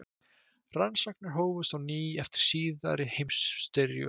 Rannsóknir hófust á ný eftir síðari heimsstyrjöldina.